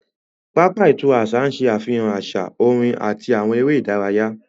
Pápá ìtura àṣà ń ṣe àfihàn àṣà, orin àti àwọn eré ìdárayá